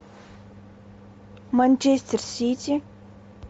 манчестер сити